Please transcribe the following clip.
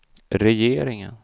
regeringen